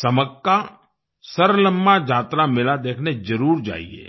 समक्कासरलम्मा जातरा मेला देखने जरुर जाईये